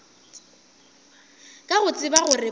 ka go tseba gore ba